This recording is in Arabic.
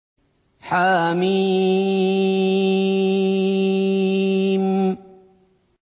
حم